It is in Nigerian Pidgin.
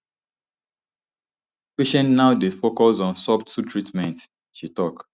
patients now dey focus on subtle treatments she tok